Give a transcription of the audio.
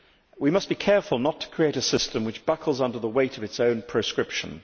We must be careful not to create a system which buckles under the weight of its own prescription.